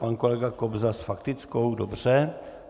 Pan kolega Kobza s faktickou, dobře.